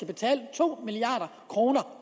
betale to milliard kroner